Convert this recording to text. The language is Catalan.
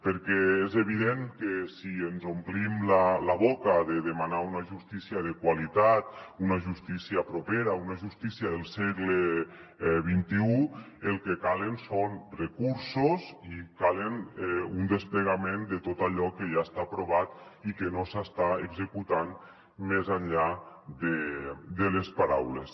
perquè és evident que si ens omplim la boca de demanar una justícia de qualitat una justícia propera una justícia del segle xxi el que calen són recursos i cal un desplegament de tot allò que ja està aprovat i que no s’està executant més enllà de les paraules